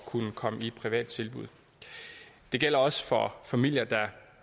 kunne komme i et privat tilbud det gælder også for familier der